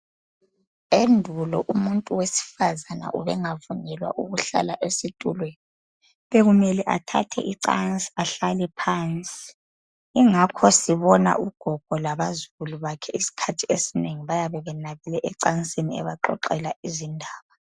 Endulo umuntu wesifazana ubengavunyelwa ukuhlala esitulweni bekumele athathe icansi ahlale phansi ingakho sibona ugogo labazukulu bakhe isikhathi esinengi bayabe benabile ecansini ebaxoxela izindaba.